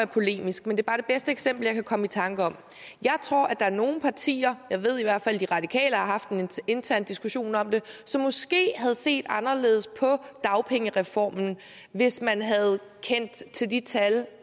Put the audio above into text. polemisk men det er bare det bedste eksempel jeg kan komme i tanke om jeg tror at der er nogle partier jeg ved i hvert fald at de radikale har haft en intern diskussion om det som måske havde set anderledes på dagpengereformen hvis man havde kendt til de tal